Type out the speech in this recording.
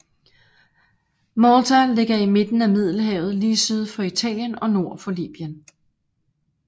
Malta ligger i midten af Middelhavet lige syd for Italien og nord for Libyen